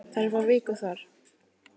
Þær fá viku þar.